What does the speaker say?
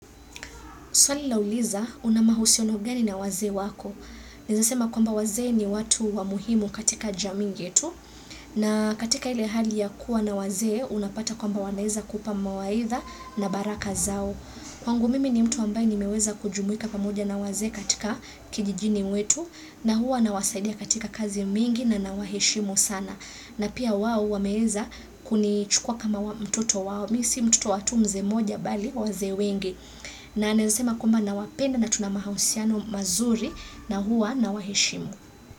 Swali lauliza una mahusiano gani na wazee wako. Ninaweza sema kwamba wazee ni watu wa muhimu katika jamii yetu. Na katika ile hali ya kuwa na wazee unapata kwamba wanaweza kupa mawaidha na baraka zao. Kwangu mimi ni mtu ambaye nimeweza kujumuika pamoja na wazee katika kijijini mwetu. Na huwa nawasaidia katika kazi mingi na nawaheshimu sana. Na pia wao wameweza kunichukua kama mtoto wao. Mimi si mtoto wa tu mzee mmoja bali wazee wengi. Na anasema kwamba nawapenda na tuna mahusiano mazuri na huwa na waheshimu.